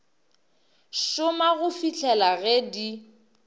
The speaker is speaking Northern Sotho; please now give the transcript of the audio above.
šoma go fihlela ge di